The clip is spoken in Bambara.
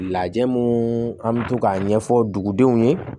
Lajɛ mun an bɛ to k'a ɲɛfɔ dugudenw ye